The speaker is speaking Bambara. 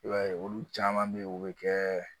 I b'a ye olu caman bɛ yen u bɛ kɛ